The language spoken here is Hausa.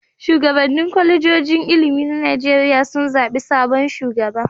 Shugabannin kwalejojin ilimi na Najeriya sun zaɓi sabon shugaba.